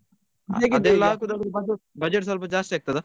ಹೌದು ಅದೆಲ್ಲ ಆಗೋದ್ ಆದ್ರೆ budget ಸ್ವಲ್ಪ ಜಾಸ್ತಿ ಆಗ್ತದಾ.